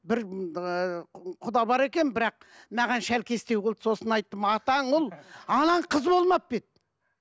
бір ііі құда бар екен бірақ маған шәлкестеу қылды сосын айттым атаң ұл анаң қыз болмап па еді